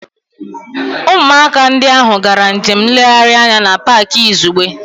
Ụmụaka ndị ahụ gara njem nlegharị anya na Pááki izugbe